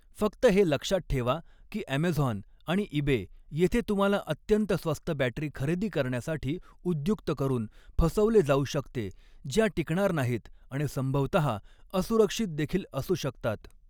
फक्त हे लक्षात ठेवा की ॲमेझॉन आणि ईबे येथे तुम्हाला अत्यंत स्वस्त बॅटरी खरेदी करण्यासाठी उद्युक्त करून फसवले जाऊ शकते ज्या टिकणार नाहीत आणि संभवतहा असुरक्षित देखील असू शकतात.